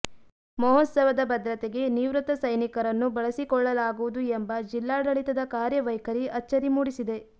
ಮಹೋತ್ಸವದ ಭದ್ರತೆಗೆ ನಿವೃತ್ತ ಸೈನಿಕರನ್ನು ಬಳಸಿಕೊಳ್ಳಲಾಗುವುದು ಎಂಬ ಜಿಲ್ಲಾಡಳಿತದ ಕಾರ್ಯ ವೈಖರಿ ಅಚ್ಚರಿ ಮೂಡಿಸಿದೆ